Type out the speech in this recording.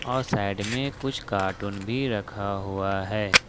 और साइड में कुछ कार्टून भी रखा हुआ है।